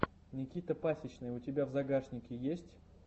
никита пасичный у тебя в загашнике есть